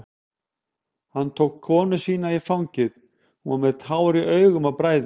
Hann tók konu sína í fangið, hún var með tár í augum af bræði.